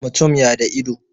mutum ya da ido